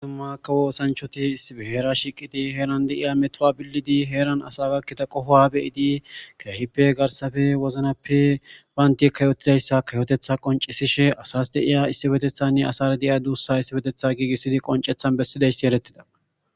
Ddumakawo osanchoti isbheera shiqidi heeran deiya metowa billidi heeran asa gakkida qofoa beyidi keehippe garsafe woznappe baanti kayotidayssa kayotetha qoncisishe asas deiya issi betethanne asara deiya duussa issibetetha giigissidi qoncethan bessidayssi erettida.